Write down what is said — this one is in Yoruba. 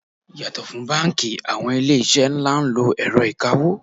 Yàtò fún báńkì, àwọn ilé iṣẹ́ ńlá ń lo ẹ̀rọ ìkawó.